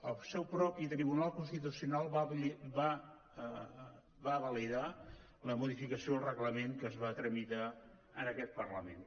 el seu propi tribunal constitucional va validar la modificació del reglament que es va tramitar en aquest parlament